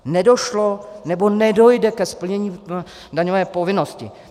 Nedošlo nebo nedojde ke splnění daňové povinnosti.